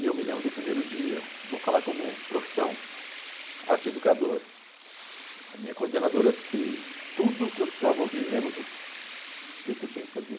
E eu me lembro do primeiro dia, vou falar como profissão, arteeducador, a minha coordenadora disse tudo o que eu precisava ouvir, menos o que que eu tinha que fazer.